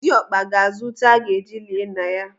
Dịọkpa ga-azụ ute aga-eji lie nna ya.